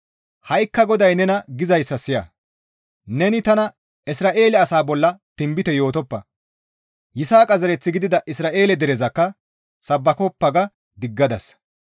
«Ha7ikka GODAY nena gizayssa siya; neni tana, ‹Isra7eele asaa bolla tinbite yootoppa; Yisaaqa zereth gidida Isra7eele derezakka sabbakoppa› ga diggadasa.